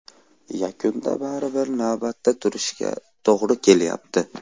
Yakunda baribir navbatda turishga to‘g‘ri kelyapti.